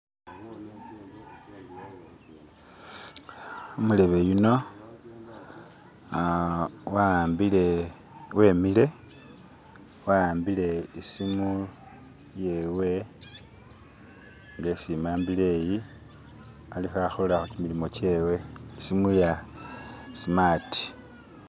Umulebe yuno aaa wahambile wemile wahambile isimu yewe inga isi imambile eyi alikho akola chimilimo chewe isimu ya smart